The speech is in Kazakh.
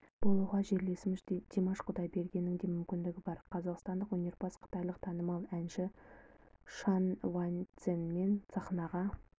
болуға жерлесіміз димаш құдайбергеннің де мүмкіндігі бар қазақстандық өнерпаз қытайлық танымал әнші шан ваньцземен сахнаға